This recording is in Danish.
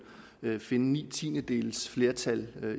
finde ni tiendedels flertal